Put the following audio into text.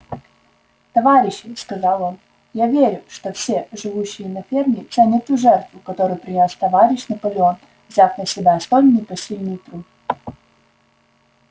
товарищи сказал он я верю что все живущие на ферме ценят ту жертву которую принёс товарищ наполеон взяв на себя столь непосильный труд